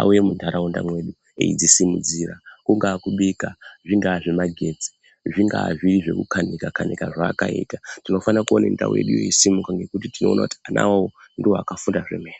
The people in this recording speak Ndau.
auye muntaraunda medu echidzisimudzira, kungava kubika, zvingava zvemagetsi zvingaa zviri zvekukanika kanika zvaakaita tinofanira kuva nendau irikusunuka nokuti tinoona kuti vana ava ndivo vakafunda zvomene.